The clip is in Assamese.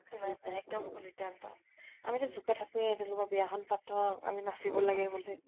নাই নাই । এক্দম ভুল সিধান্ত । আমি জোকাই থাকোৱে বিয়া খন পাতক, আমি নাচিব লাগে বুলি ।